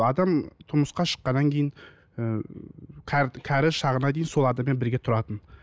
адам тұрмысқа шыққаннан кейін ыыы кәрі шағына дейін сол адаммен бірге тұратын